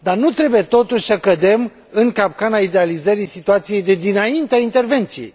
Dar nu trebuie, totuși, să cădem în capcana idealizării situației de dinaintea intervenției.